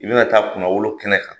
I bɛna taa kunnawolo kɛnɛ kan,